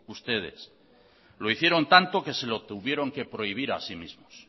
ustedes lo hicieron tanto que se lo tuvieron que prohibir a sí mismos